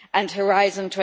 and Horizon